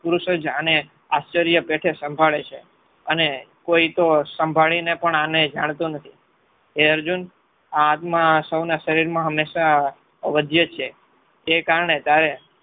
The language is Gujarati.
આને આશ્ચર્ય પેઠે સાંભળે છે. અને કોઈ તો સાંભળીને પણ આને જાણતો નથી. હે અર્જુન આ આત્મા સૌના શરીરમાં હંમેશા અવધ્ય છે. જે કારણે તારે